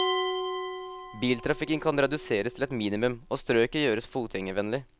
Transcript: Biltrafikken kan reduseres til et minimum, og strøket gjøres fotgjengervennlig.